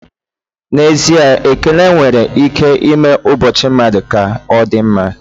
N'ezie ekele nwere ike ime ụbọchị mmadụ ka ọdịmma.